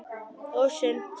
Og sund.